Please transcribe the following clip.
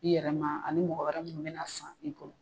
I yɛrɛ ma ani mɔgɔ wɛrɛ mun be na san k'i to.